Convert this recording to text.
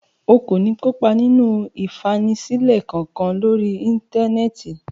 O kò ní kópa nínú ìfanisílẹ̀ kankan lórí Íńtánẹ́ẹ̀tì.